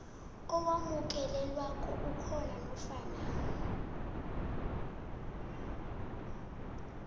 owamukelekako ukhona nofana